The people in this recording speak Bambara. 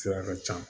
Sira ka ca